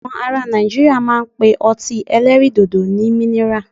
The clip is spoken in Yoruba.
Àwọn ará Nàìjíríà máa ń pe ọtí ẹlẹ́rìndòdò ní minira.